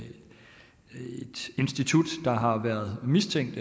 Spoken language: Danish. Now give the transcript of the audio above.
institut der har været mistænkt